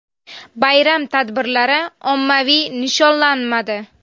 Bayram tadbirlari ommaviy nishonlamadi.